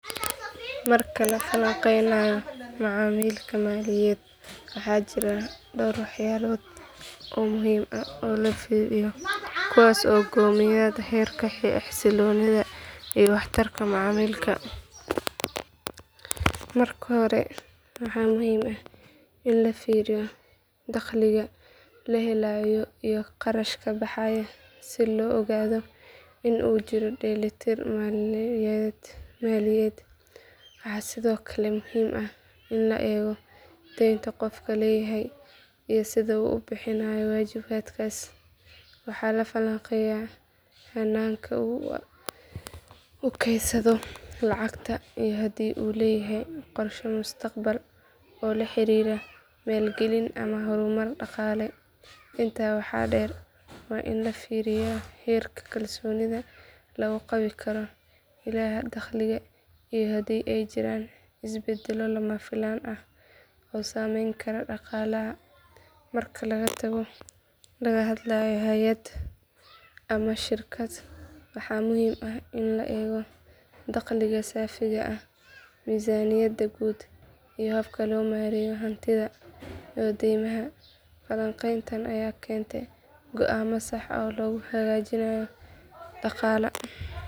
Marka la falanqeynayo macaamilka maaliyadeed waxaa jira dhowr waxyaalood oo muhiim ah oo la fiiriyo kuwaas oo go'aamiya heerka xasilloonida iyo waxtarka macaamilkaas. Marka hore waxaa muhiim ah in la fiiriyo dakhliga la helayo iyo kharashka baxaya si loo ogaado in uu jiro dheelitir maaliyadeed. Waxaa sidoo kale muhiim ah in la eego deynta qofku leeyahay iyo sida uu u bixinayo waajibaadkaas. Waxaa la falanqeeyaa hannaanka uu u kaydsado lacagta iyo haddii uu leeyahay qorshe mustaqbalka oo la xiriira maalgelin ama horumar dhaqaale. Intaa waxaa dheer waa in la fiiriyaa heerka kalsoonida lagu qabi karo ilaha dakhliga iyo haddii ay jiraan isbeddello lama filaan ah oo saameyn kara dhaqaalaha. Marka laga hadlayo hay’ad ama shirkad waxaa muhiim ah in la eego dakhliga saafiga ah miisaaniyadda guud iyo habka loo maareeyo hantida iyo deymaha. Falanqeyntan ayaa keenta go’aamo sax ah oo lagu hagaajinayo dhaqaalaha.